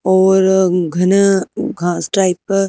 और घन घास टाइप का--